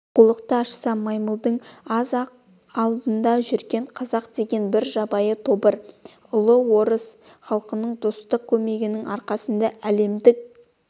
оқулықты ашса маймылдың аз-ақ алдында жүрген қазақ деген бір жабайы тобыр ұлы орыс халқының достық көмегінің арқасында әлемдік